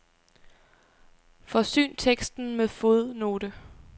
Forsyn teksten med fodnote.